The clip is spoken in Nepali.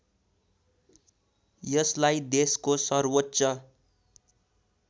यसलाई देशको सर्वोच्च